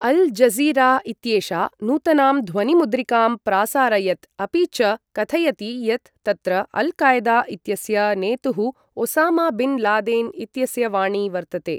Al Jazeera इत्येषा नूतनां ध्वनिमुद्रिकां प्रासारयत् अपि च कथयति यत् तत्र अल्कायदा इत्यस्य नेतुः ओसामा बिन् लादेन् इत्यस्य वाणी वर्तते।